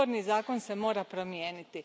Izborni zakon se mora promijeniti.